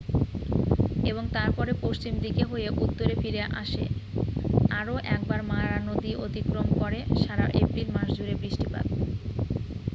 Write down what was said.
এবং তারপরে পশ্চিম দিকে হয়ে উত্তরে ফিরে এসে আরও একবার মারা নদী অতিক্রম করে সারা এপ্রিল মাস জুড়ে বৃষ্টিপাত